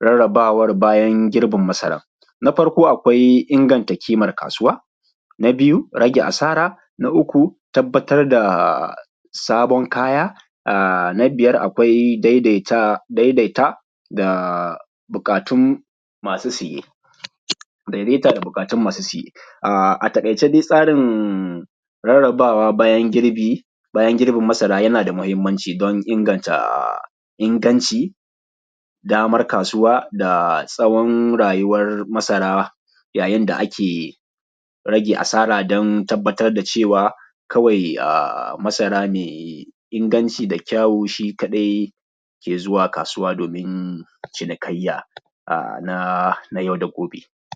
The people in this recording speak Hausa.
rarrabawa bayan girbin masaran. Na farko akwai inganta kimar kasuwa, na biyu rage asara, na uku tabbatar da sabon kaya, na biyar akwai daidaita da buƙatun masu siye. A taƙaice dai tsarin rarrabawa bayan girbin masara yana da muhimmanci don inganta inganci, damar kasuwa, da tsawon rayuwar masara, yayin da ake rage asara don tabbatar da cewa kawai masara mai inganci da kyau shi kaɗai ke zuwa kasuwa domin cinikayya na yau da gobe.